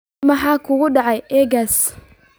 maxaa ka dhacaya aaggaas